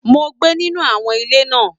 Mo gbé nínú àwọn ilé náà.